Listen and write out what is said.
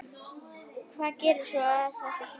Hvað gera svo þessi félög?